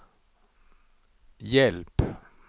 hjälp